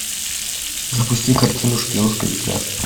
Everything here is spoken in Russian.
запусти картину шпионская игра